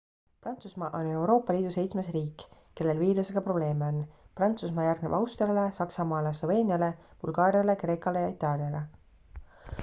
prantsusmaa on euroopa liidu seitsmes riik kellel viirusega probleeme on prantsusmaa järgneb austriale saksamaale sloveeniale bulgaariale kreekale ja itaaliale